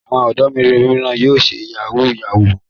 Àwọn ọ̀dọ́ mìíràn yóò ṣe yahoo yahoo.